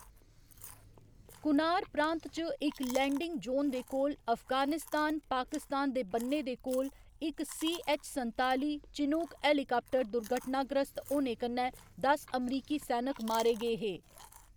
कुनार प्रांत च इक लैंडिंग जोन दे कोल अफगानिस्तान पाकिस्तान दे बन्ने दे कोल इक सी.ऐच्च. संताली चिनूक हेलीकाप्टर दुर्घटनाग्रस्त होने कन्नै दस अमरीकी सैनक मारे गे हे।